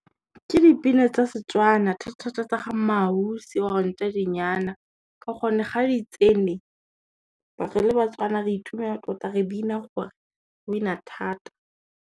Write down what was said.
Ke dipina tsa Setswana thata tsa ga Mmaausi or Ntšhadinyana ka gonne ga di tsene, re le Batswana re itumela tota re bina gore, re bina thata.